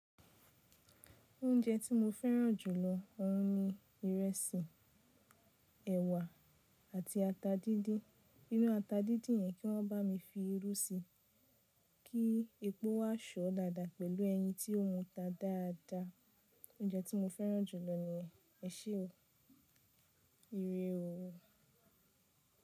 Oúnjẹ tí mo fẹ́ràn jù ni oun ní irẹsì, ẹ̀wà àti ata díndín. Inú ata díndín yẹn kí wọ́n bá mi fi irú síi kí epo wá sọ̀ ọ́ dáadáa pẹ̀lú ẹyin tí ó muta dáadáa. Oúnjẹ tí mo fẹ́ràn jù lọ ní yen. Ẹṣẹ o, ìrẹ̀ o.